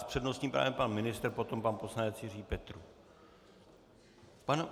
S přednostním právem pan ministr, potom pan poslanec Jiří Petrů.